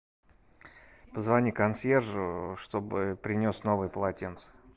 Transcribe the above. позвони консьержу чтобы принес новые полотенца